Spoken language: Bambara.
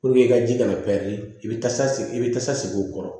i ka ji kana i bɛ tasa i bɛ tasago kɔrɔ